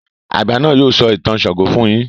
àgbà náà yóò sọ ìtàn ṣàngó fún yín.